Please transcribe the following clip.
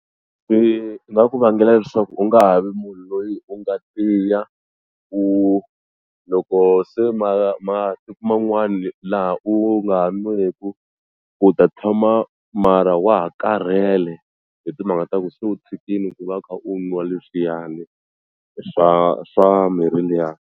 Swi nga ku vangela leswaku u nga ha vi munhu loyi u nga tiya u loko se masiku man'wani laha u nga ha n'weku u ta tshama mara wa ha karhele hi timhaka ta ku se u tshikile ku va u kha u nwa leswiyani swa swa mirhi liya.